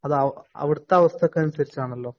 അതവിടത്തെ അവസ്ഥയ്ക്കനുസരിച്ചാണല്ലോ.